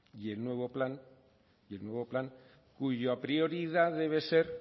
y el nuevo plano cuya prioridad debe ser